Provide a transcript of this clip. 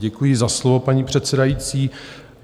Děkuji za slovo, paní předsedající.